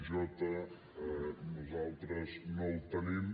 j nosaltres no el tenim